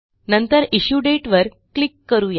नंतर issue date वर click करू या